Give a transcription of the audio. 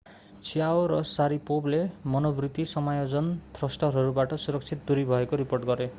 chiao र sharipovले मनोवृत्ति समायोजन थ्रस्टरहरूबाट सुरक्षित दूरी भएको रिपोर्ट गरे।